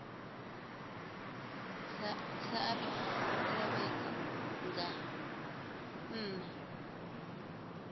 saathu u fhela vhege nṋa